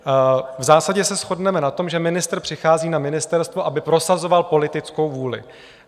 V zásadě se shodneme na tom, že ministr přichází na ministerstvo, aby prosazoval politickou vůli.